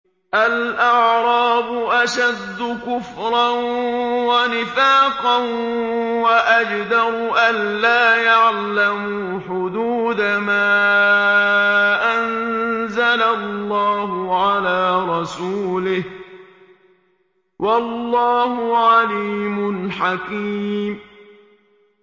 الْأَعْرَابُ أَشَدُّ كُفْرًا وَنِفَاقًا وَأَجْدَرُ أَلَّا يَعْلَمُوا حُدُودَ مَا أَنزَلَ اللَّهُ عَلَىٰ رَسُولِهِ ۗ وَاللَّهُ عَلِيمٌ حَكِيمٌ